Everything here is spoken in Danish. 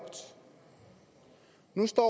nu står